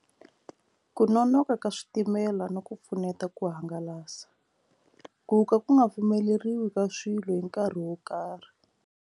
Ku nonoka ka switimela no ku pfuneta ku hangalasa ku ka ku nga pfumeleriwi ka swilo hi nkarhi wo karhi.